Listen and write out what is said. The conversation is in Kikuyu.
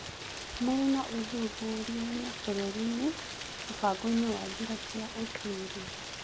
Mũruna ũthuthuriainĩ bũrũri-inĩ mũbangoinĩ wa njĩra cia ũtuĩria